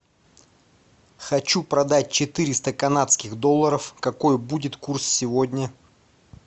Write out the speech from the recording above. хочу продать четыреста канадских долларов какой будет курс сегодня